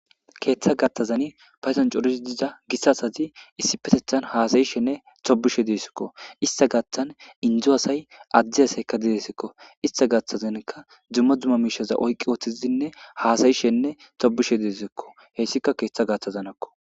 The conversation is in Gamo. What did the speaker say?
Ketha gathazan patdon coriza gita asati issipetethan hasayishe e tobishe de'etesiko. Ista gathan info asay adde asayka deesiko ista gaathazani duma duma mishas oyki uttidinne hasayishe e tobishe deesiko. Haysika keetha gaathazaniko.